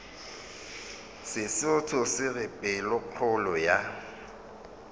sesotho se re pelokgolo ya